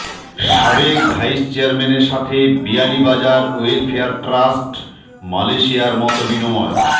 সাবেক ভাইস চেয়ারম্যানের সাথে বিয়ানীবাজার ওয়েলফেয়ার ট্রাষ্ট্র মালেশিয়ার মতবিনিময়